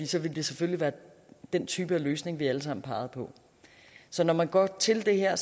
så ville det selvfølgelig være den type løsning vi alle sammen pegede på så når man går til det her